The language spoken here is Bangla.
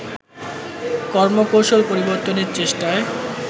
কর্মকৌশল পরিবর্তনের চেষ্টায়